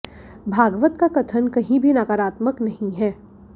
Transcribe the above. भागवत का कथन कहीं भी नकारात्मक नहीं है